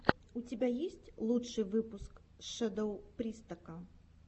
у тебя есть лучший выпуск шэдоу пристока